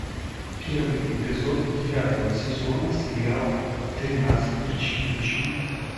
первый эпизод девятого сезона сериала тринадцать причин почему